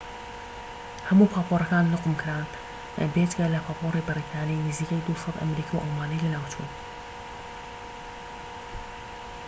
هەموو پاپۆرەکان نقوم کران، بێجگە لە پاپۆری بەریتانی، نزیەکی ٢٠٠ ئەمریکی و ئەڵمانی لەناوچوون